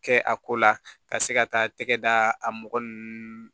Kɛ a ko la ka se ka taa tɛgɛ da a mɔgɔ ninnu